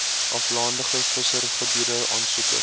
aflandige visserygebiede aansoekers